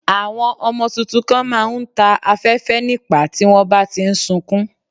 Àwọn ọmọ tuntun kan má a ń ta afẹ́fẹ́ nípàá tí wọ́n bá ti ń sukún